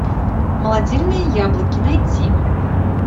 молодильные яблоки найти